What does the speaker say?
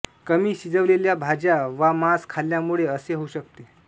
कमी शिजविलेल्या भाज्या वा मांस खाल्ल्यामुळे असे होऊ शकते